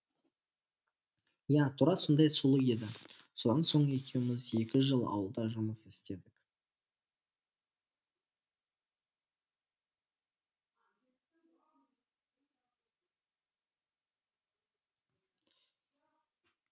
иә тура сондай сұлу еді содан соң екеуміз екі жыл ауылда жұмыс істедік